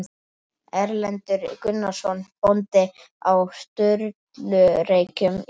Erlendur Gunnarsson bóndi á Sturlureykjum í